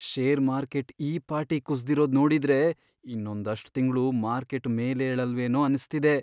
Share market ಈ ಪಾಟಿ ಕುಸ್ದಿರೋದ್ ನೋಡಿದ್ರೆ, ಇನ್ನೊಂದಷ್ಟ್ ತಿಂಗ್ಳು ಮಾರ್ಕೆಟ್ ಮೇಲೇಳಲ್ವೇನೋ ಅನ್ಸ್ತಿದೆ.